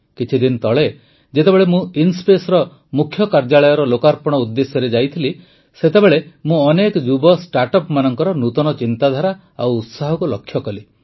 କିଛିଦିନ ତଳେ ଯେତେବେଳେ ମୁଁ ଇନ୍ସ୍ପେସ ମୁଖ୍ୟ କାର୍ଯ୍ୟାଳୟର ଲୋକାର୍ପଣ ଉଦ୍ଦେଶ୍ୟରେ ଯାଇଥିଲି ସେତେବେଳେ ମୁଁ ଅନେକ ଯୁବ ଷ୍ଟାର୍ଟଅପଙ୍କର ନୂତନ ଚିନ୍ତାଧାରା ଓ ଉତ୍ସାହକୁ ଲକ୍ଷ୍ୟ କଲି